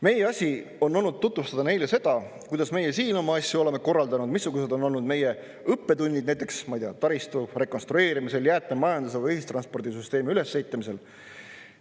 Meie asi on olnud tutvustada neile seda, kuidas meie siin oma asju oleme korraldanud, missugused on olnud meie õppetunnid näiteks, ma ei tea, taristu rekonstrueerimisel, jäätmemajanduse või ühistranspordisüsteemi ülesehitamisel.